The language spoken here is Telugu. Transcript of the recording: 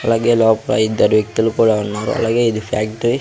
అలాగే లోపల ఇద్దరు వ్యక్తులు కూడా ఉన్నారు అలాగే ఇది ఫ్యాక్టరీ .